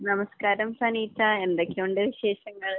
നമസ്കാരം, സനീറ്റ. എന്തൊക്കെയുണ്ട് വിശേഷങ്ങൾ?